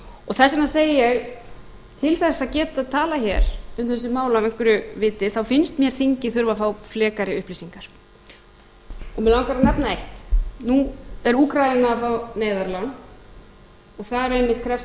þess vegna segi ég til þess að geta talað hér um þessi mál af einhverju viti þá finnst mér þingið þurfa að frá frekari upplýsingar mig langar að nefna eitt nú er úkraína að fá neyðarlán og þar einmitt krefst